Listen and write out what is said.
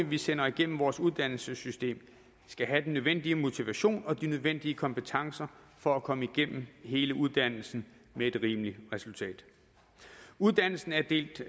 vi sender igennem vores uddannelsessystem skal have den nødvendige motivation og de nødvendige kompetencer for at komme igennem hele uddannelsen med et rimeligt resultat uddannelsen er delt